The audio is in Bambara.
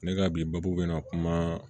Ne ka bi baabu bɛna kuma